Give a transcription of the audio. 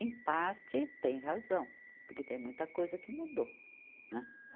Em parte, tem razão, porque tem muita coisa que mudou, né?